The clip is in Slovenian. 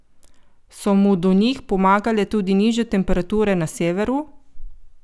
So mu do njih pomagale tudi nižje temperature na severu?